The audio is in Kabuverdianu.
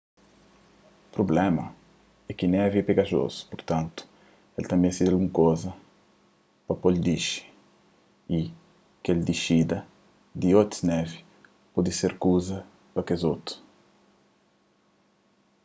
prubléma é ki névi é pegajozu purtantu el ta meste di algun kuza pa po-l dixi y kel dixida di otus névi pode ser kel kuza pa kes otu